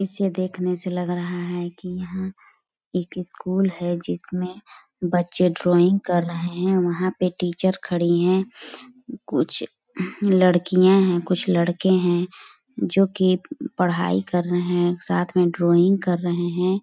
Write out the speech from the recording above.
इसे देखने से लग रहा है की यहाँ एक स्कूल है जिसमें बच्चे ड्राइंग कर रहे है वहाँ पे टीचर खड़ी है कुछ लड़कियाँ है कुछ लड़के है जो की पढाई कर रहे है और साथ में ड्राइंग कर रहे है।